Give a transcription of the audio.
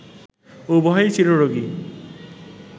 উভয়ই চিররোগী